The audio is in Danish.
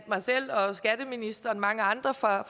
mig selv og skatteministeren og mange andre fra